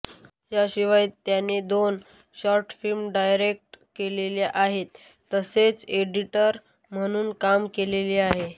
याशिवाय त्याने दोन शॉर्ट फिल्म डायरेक्ट केलेल्या आहेत तसेच एडिटर म्हनुनही काम केलेले आहे